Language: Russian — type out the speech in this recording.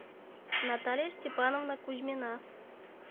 наталья степановна кузьмина